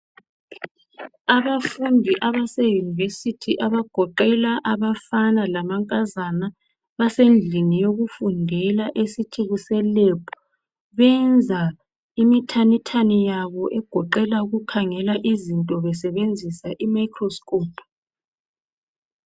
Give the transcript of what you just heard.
Abafundi abase university abagoqela abafana lamankazana, basendlini yokufundela esithi kuse lab, benza imithanithani yabo egoqela ukukhangela izinto besebenzisa i microscope